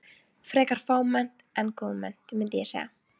Frekar fámennt en góðmennt, mundi ég segja.